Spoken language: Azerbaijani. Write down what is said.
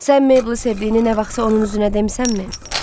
Sən Meyblı sevdiyini nə vaxtsa onun üzünə demisənmi?